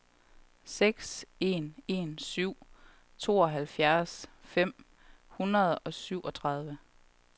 seks en en syv tooghalvfjerds fem hundrede og syvogtredive